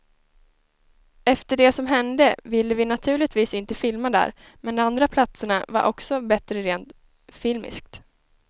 Efter det som hände ville vi naturligtvis inte filma där, men de andra platserna var också bättre rent filmiskt.